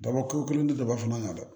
Dabɔkun kelen tɛ daba fana kan dɛ